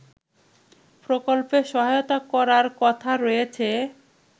প্রকল্পে সহায়তা করার কথা রয়েছে